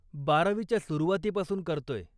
बारावीच्या सुरुवातीपासून करतोय.